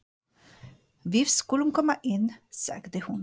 Við skulum koma inn, sagði hún.